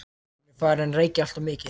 Hún er farin að reykja alltof mikið.